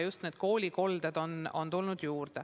Just koolikoldeid on juurde tulnud.